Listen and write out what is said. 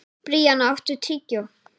Bríanna, áttu tyggjó?